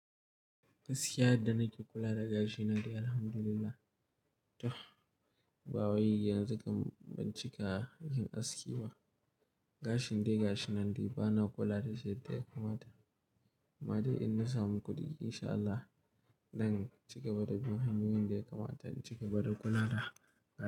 Gaskiya yadda na ke kula da gashi na dai alhamdulillah. Toh, ba wai yanzu kam ban cika yin aski ba. Gashin dai gashi nan dai bana kula da shi yadda ya kamata amma dai in na samu kuɗi insha Allah, zan cigaba da bin hanyoyin da ya kamata in cigaba da kula da gashi.